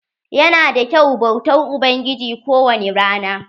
Ya na da kyau bautar ubangiji ko wani rana.